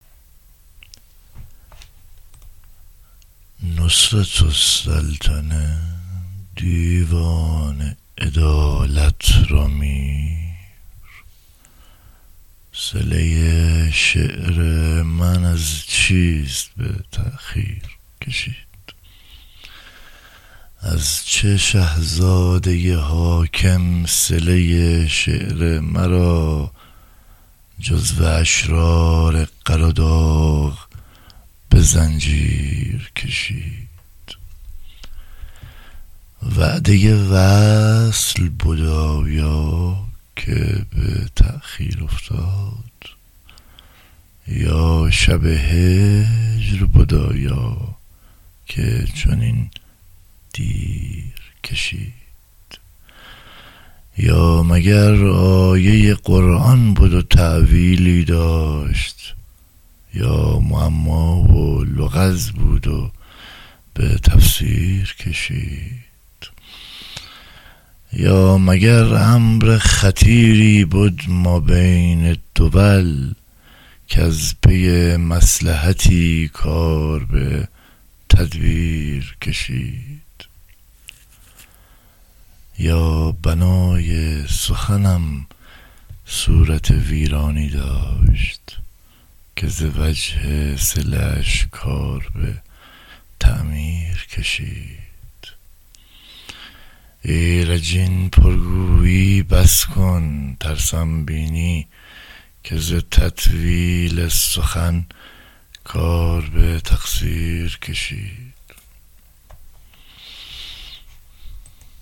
نصرت السلطنه دیوان عدالت را میر صله شعر من از چیست به تأخیر کشید از چه شه زاده حاکم صله شعر مرا جزو اشرار قراداغ به زنجیر کشید وعده وصل بد آیا که به تأخیر افتاد یا شب هجر بد آیا که چنین دیر کشید یا مگر آیه قرآن بد و تأویلی داشت یا معما و لغز بود و به تفسیر کشید یا مگر امر خطیری بد ما بین دول کز پی مصلحتی کار به تدبیر کشید یا بنای سخنم صورت ویرانی داشت که زوجه صله اش کار به تعمیر کشید ایرج این پرگویی بس کن ترسم بینی که ز تطویل سخن کار به تقصیر کشید